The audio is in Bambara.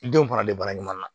I denw faralen bara ɲuman na